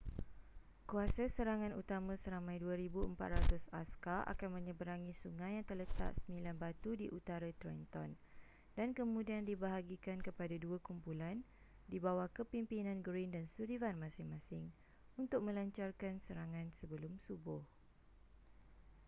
kuasa serangan utama seramai 2,400 askar akan menyeberangi sungai yang terletak 9 batu di utara trenton dan kemudian dibahagikan kepada dua kumpulan di bawah kepimpinan greene dan sullivan masing-masing untuk melancarkan serangan sebelum subuh